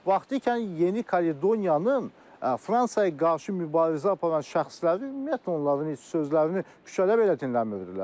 Vaxtikən Yeni Kaledoniyanın Fransaya qarşı mübarizə aparan şəxsləri, ümumiyyətlə, onların heç sözlərini küçədə belə dinləmirdilər.